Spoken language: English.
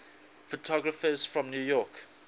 photographers from new york